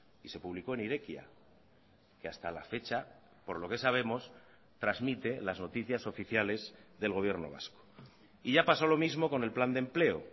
y se publicó en irekia que hasta la fecha por lo que sabemos transmite las noticias oficiales del gobierno vasco y ya pasó lo mismo con el plan de empleo